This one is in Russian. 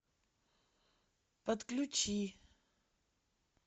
подключи